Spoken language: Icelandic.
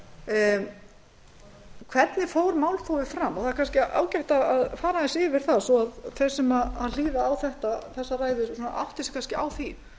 síðkastið hvernig fór málþófið fram það er kannski ágætt að fara aðeins yfir það þó þeir sem hlýða á þessa ræðu átti sig kannski á því